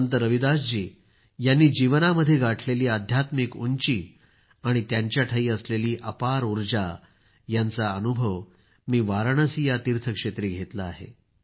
संत रविदास जी यांनी जीवनामध्ये गाठलेली आध्यात्मिक उंची आणि त्यांच्याठायी असलेली अपार ऊर्जा यांचा अनुभव मी वाराणसी या तीर्थक्षेत्री घेतला आहे